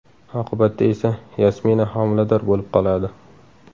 Oqibatda esa Yasmina homilador bo‘lib qoladi.